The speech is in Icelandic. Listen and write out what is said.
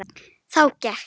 Þá gekk